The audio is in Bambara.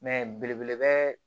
Mɛ belebeleba